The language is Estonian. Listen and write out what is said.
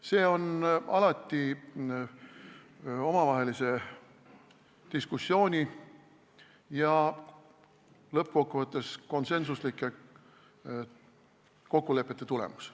See on alati omavahelise diskussiooni ja lõppkokkuvõttes konsensuslike kokkulepete tulemus.